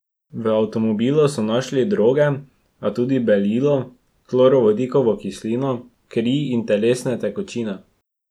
V avtomobilu so našli droge, a tudi belilo, klorovodikovo kislino, kri in telesne tekočine.